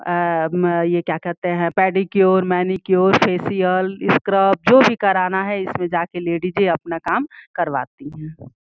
आम ये क्या कहते हैं पेडीक्योर मैनीक्योर फेसिअल स्क्रब जो भी करना है। इसमे जाके लेडीज अपना काम करवाती हैं।